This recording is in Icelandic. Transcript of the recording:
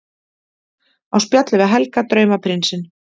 Á spjalli við Helga, draumaprinsinn!